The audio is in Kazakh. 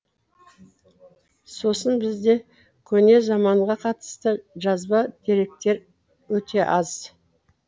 сосын бізде көне заманға қатысты жазба деректері өте аз